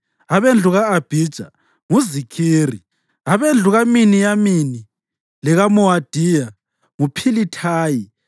abendlu ka-Abhija nguZikhiri; abendlu kaMiniyamini lekaMowadiya, nguPhilithayi;